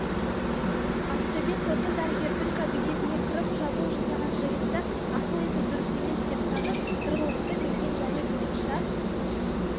ақтөбе соты дәрігердің кабинетіне кіріп шабуыл жасаған жігітті ақыл-есі дұрыс емес деп танып тұрғылықты мекенжайы бойынша